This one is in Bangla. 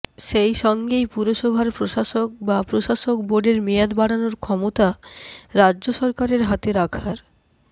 সেই সঙ্গেই পুরসভার প্রশাসক বা প্রশাসক বোর্ডের মেয়াদ বাড়ানোর ক্ষমতা রাজ্য সরকারের হাতে রাখার